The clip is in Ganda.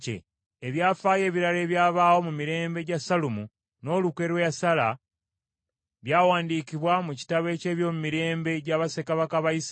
Ebyafaayo ebirala ebyabaawo mu mirembe gya Sallumu, n’olukwe lwe yasala, byawandiikibwa mu kitabo eky’ebyomumirembe gya bassekabaka ba Isirayiri.